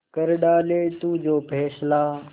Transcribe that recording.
कर डाले तू जो फैसला